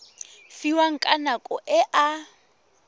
fiwang ka nako e a